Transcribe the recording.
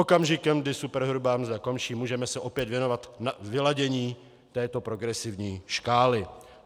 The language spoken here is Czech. Okamžikem, kdy superhrubá mzda končí, můžeme se opět věnovat vyladění této progresivní škály.